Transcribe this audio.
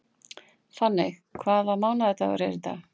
Finney, hvaða mánaðardagur er í dag?